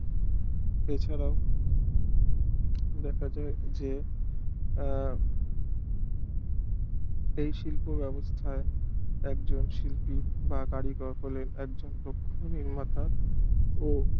এছাড়াও দেখা যায় যে আহ এই শিল্প ব্যাবস্থা একজন শিল্পী বা কারিগর হলো একজন ও